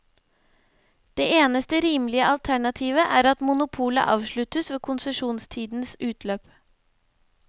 Det eneste rimelige alternativet er at monopolet avsluttes ved konsesjonstidens utløp.